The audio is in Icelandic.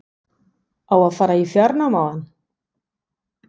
Á að fara í fjárnám á hann?